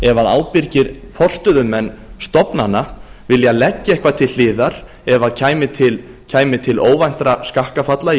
ef ábyrgir forstöðumenn stofnana vilja leggja eitthvað til hliðar ef kæmi til óvæntra skakkafalla í